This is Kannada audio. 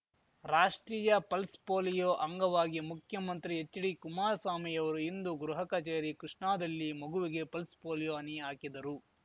ರಾಷ್ಟ್ರೀಯ ಪಲ್ಸ್ ಪೋಲಿಯೋ ಅಂಗವಾಗಿ ಮುಖ್ಯಮಂತ್ರಿ ಹೆಚ್ಡಿಕುಮಾರ ಸ್ವಾಮಿ ರವರು ಇಂದು ಗೃಹ ಕಛೇರಿ ಕೃಷ್ಣಾದಲ್ಲಿ ಮಗುವಿಗೆ ಪಲ್ಸ್ ಪೋಲಿಯೋ ಹನಿ ಹಾಕಿದರು